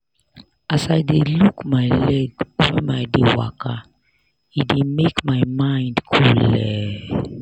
as i dey look my leg whem i dey waka e dey make my mind coole.